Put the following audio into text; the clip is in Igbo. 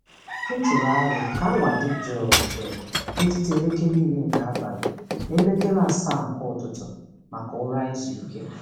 M tụrụ aro ka awa dị jụụ jụụ n'etiti elekere iri nke abali na elekere asaa nke ụtụtụ maka ụra izu ike.